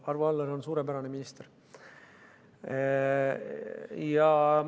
Arvo Aller on suurepärane minister.